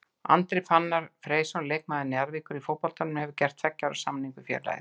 Andri Fannar Freysson leikmaður Njarðvíkur í fótboltanum hefur gert tveggja ára samning við félagið.